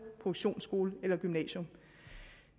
produktionsskole eller gymnasium